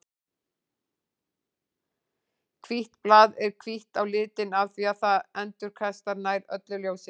Hvítt blað er hvítt á litinn af því að það endurkastar nær öllu ljósinu.